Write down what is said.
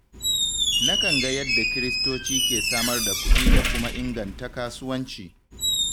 Na kan ga yadda kiristoci ke samar da kudi da kuma inganta kasuwanci